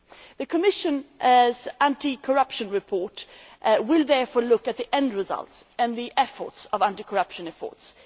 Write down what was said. The Commission's anti corruption report will therefore look at the end results and the efforts of anti corruption efforts.